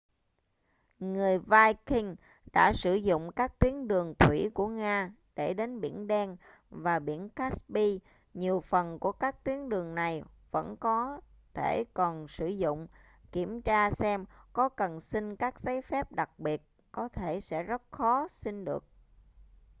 người vikings đã sử dụng các tuyến đường thủy của nga để đến biển đen và biển caspi nhiều phần của các tuyến đường này vẫn có thể còn sử dụng kiểm tra xem có cần xin các giấy phép đặc biệt có thể sẽ rất khó xin được